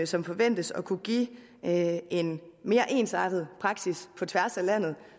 som forventes at kunne give en mere ensartet praksis på tværs af landet